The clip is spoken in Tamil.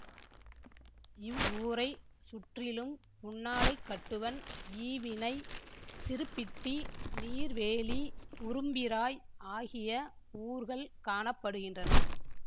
இவ்வூரைச் சுற்றிலும் புன்னாலைக்கட்டுவன் ஈவினை சிறுப்பிட்டி நீர்வேலி உரும்பிராய் ஆகிய ஊர்கள் காண படுகின்றன